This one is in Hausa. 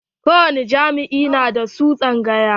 Ko wani jami'a na da su tsangaƴa.